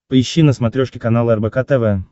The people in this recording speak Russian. поищи на смотрешке канал рбк тв